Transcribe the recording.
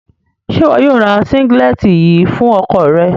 Ṣe iwọ yóò rá sínǵílẹ̀tì yìí fún ọkọ̀ rẹ?